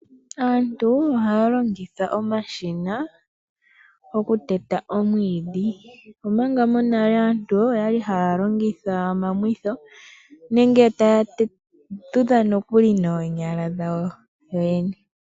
Aantu ohaa longitha omashina oku teta omwiidhi, omanga monale aantu oyali haya longitha omamwitho, nenge taya tudha nokuli noonyala dhawo yoyene.